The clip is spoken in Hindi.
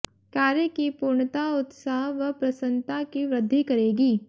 कार्य की पूर्णता उत्साह व प्रसन्नता की वृद्धि करेगी